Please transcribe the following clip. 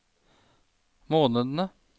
månedene